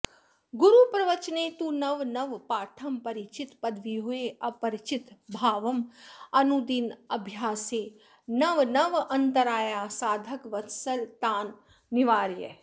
गुरुप्रवचने तु नव नव पाठं परिचित पदव्यूहे अपरिचित भावं अनुदिनाभ्यासे नवनवान्तरायाः साधकवत्सल तान् निवारय